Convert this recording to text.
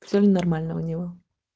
всём ли нормально у него